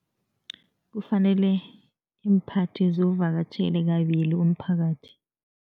Kufanele iimphathi ziwuvakatjhele kabili umphakathi.